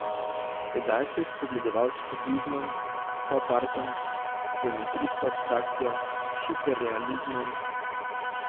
Tedaj se je spogledoval s kubizmom, popartom, geometrijsko abstrakcijo, hiperrealizmom.